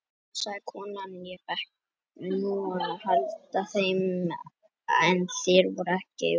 Já, sagði konan, ég fékk nú að halda þeim, en þær voru ekki vinsælar.